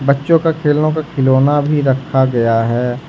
बच्चों का खेलों का खिलौना भी रखा गया है।